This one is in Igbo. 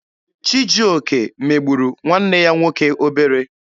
Chijioke megburu nwanne ya nwoke obere.